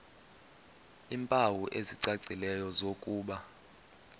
iimpawu ezicacileyo zokuba